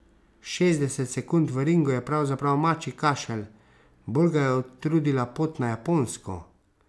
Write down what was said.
Šestdeset sekund v ringu je pravzaprav mačji kašelj, bolj ga je utrudila pot na Japonsko.